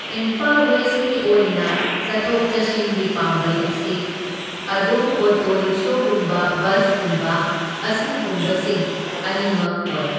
ꯏꯝꯐꯥꯜ ꯋꯦꯁꯀꯤ ꯑꯣꯏꯅ ꯆꯠꯊꯣꯛ ꯆꯠꯁꯤꯟꯒꯤ ꯄꯥꯝꯕꯩ ꯑꯁꯤ ꯑꯗꯨꯝ ꯑꯣꯇꯣ ꯔꯤꯛꯁꯣꯒꯨꯝꯕ ꯕꯁꯀꯨꯝꯕ ꯑꯁꯤꯒꯨꯝꯁꯤꯡ ꯑꯅꯤꯃꯛ ꯑꯣꯏ꯫